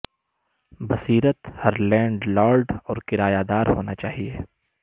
بصیرت ہر landlord اور کرایہ دار ہونا چاہئے